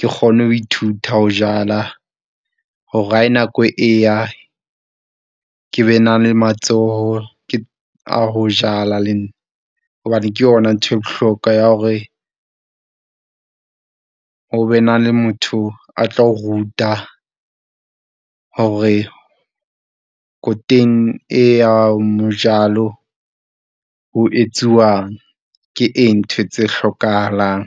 Ke kgone ho ithuta ho jala hore ha nako eya ke be na le matsoho, a ho jala le nna hobane ke yona ntho e bohlokwa ya hore ho be na le motho a tlo ruta hore khotone, e ya mojalo ho etsuwang ke eng, ntho tse hlokahalang.